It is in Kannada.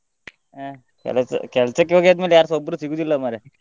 ಹಾ ಕೆಲಸ ಕೆಲ್ಸಕ್ಕೆ ಹೋಗಿ ಆದ್ಮೇಲೆ ಯಾರ್ಸ ಒಬ್ರು ಸಿಗಲ್ಲ ಮಾರ್ರೆ.